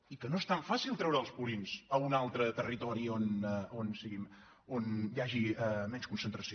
i que no és tan fàcil treure els purins a un altre territori on n’hi hagi menys concentració